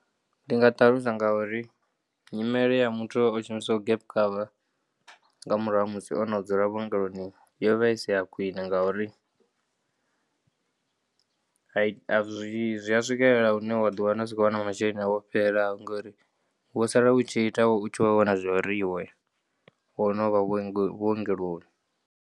Ndingaṱalusa ngauri nyimele ya muthu oshumisaho gap cover ngamurahu hamusi onodzula vhuongeloni yovha isi ya khwine ngauri ayi azwi zwiya swikelela hune wa ḓiwana usa kho wana masheleni awu ofhelelaho ngori wosala utshi ita utshivho vhona zwauri iwe wonovha vhuongeloni.